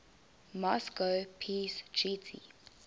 moscow peace treaty